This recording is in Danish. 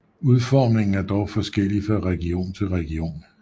Udformningen er dog forskellig fra region til region